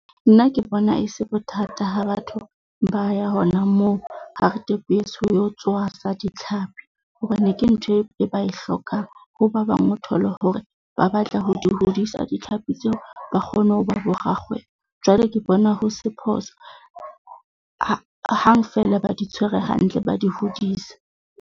Nna ke bona e se bothata ha batho ba ya hona moo Hartbees ho lo tshwasa ditlhapi. Hobane ke ntho e ba e hlokang ho ba bang, o thole hore ba batla ho di hodisa ditlhapi tseo. Ba kgone ho ba bo rakgwebo. Jwale ke bona ho se phoso hang feela ba di tshwere hantle, ba di hodise.